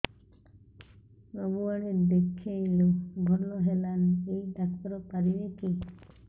ସବୁଆଡେ ଦେଖେଇଲୁ ଭଲ ହେଲାନି ଏଇ ଡ଼ାକ୍ତର ପାରିବେ କି